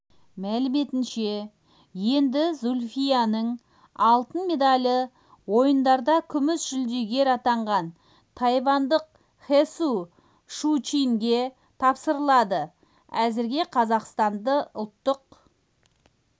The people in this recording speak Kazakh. мәліметінше енді зүлфияның алтын медалі ойындарда күміс жүлдегер атанған тайвандық хсу шучинге тапсырылады әзірге қазақстан ұлттық